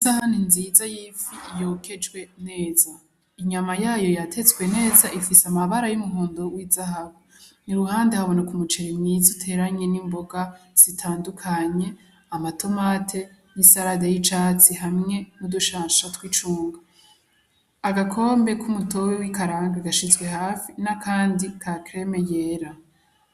Isahani nziza yifi yokejwe neza inyama yayo yatetswe neza ifise amabara y'umuhondo w'izahabu iruhande haboneka umuceri mwiza uteranye n'imboga zitandukanye; amatomati n'isarade y'icatsi hamwe n'uducanco twi cungwe, Agakombe ku mu tobobe w'ikarange gashizwe hafi n'akandi ka kereme yera.